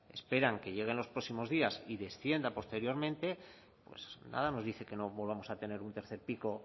esperan que llegue en los próximos días y descienda posteriormente pues nada nos dice que no volvamos a tener un tercer pico